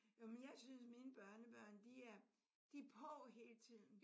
Jo men jeg synes mine børnebørn de er på de er på hele tiden